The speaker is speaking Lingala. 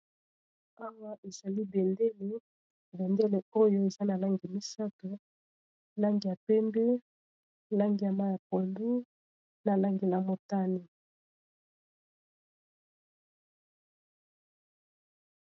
Awa ezali bendele, bendele oyo eza na langi misato langi ya pembe, langi ya mayi ya pondu, na langi ya motane.